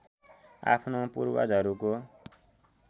आफ्नो पूर्वजहरूको